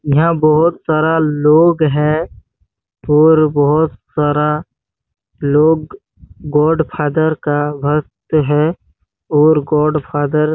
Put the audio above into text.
यहाँ बहोत सारा लोग है और बहोत सारा लोग गॉडफादर का भक्त है और गॉडफादर --